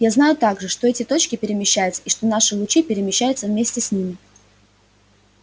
я знаю также что эти точки перемещаются и что наши лучи перемещаются вместе с ними